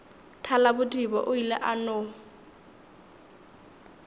thalabodiba o ile a no